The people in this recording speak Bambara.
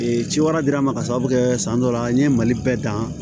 Ee ci wɛrɛ dira n ma ka sababu kɛ san dɔ la n ye mali bɛɛ dan